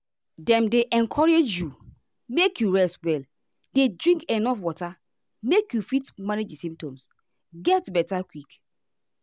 dem dey encourage you make you rest well dey drink enuf water make you fit manage di symptoms get beta quick.